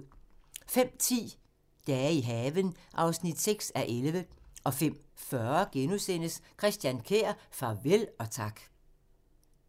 05:10: Dage i haven (6:11) 05:40: Christian Kjær – farvel og tak *